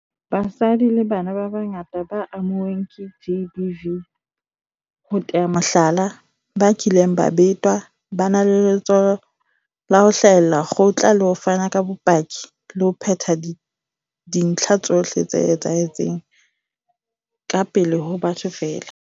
Basadi le bana ba bangata ba amuweng ke GBV, ho tea mohlala, ba kileng ba betwa, ba na le letshoho la ho hlahella kgotla le ho fana ka bopaki le ho phetha dintlha tsohle tse etsahetseng ka pele ho batho feela.